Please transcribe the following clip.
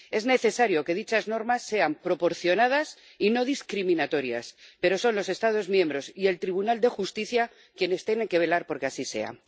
Es necesario que dichas normas sean proporcionadas y no discriminatorias, pero son los Estados miembros y el Tribunal de Justicia quienes tienen que velar por que así sea.